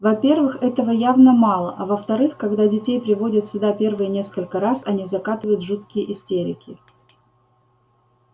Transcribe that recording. во-первых этого явно мало а во-вторых когда детей приводят сюда первые несколько раз они закатывают жуткие истерики